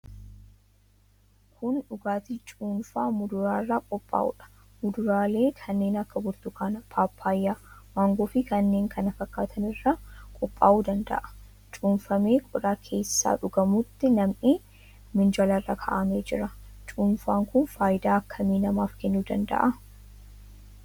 Kun dhugaatii cuunfaa muduraa irraa qophaa'uudha. Muduraalee kanneen akka burtukaana, paappayyaa, maangoofi kanneen kana fakkaatan irraa qophaa'uu danda'a. Cuunfamee qodaa keessaa dhugamutti nam'ee minjaala irra kaa'amee jira. Cuunfaan kun faayidaa akkamii namaaf kennuu danda'a?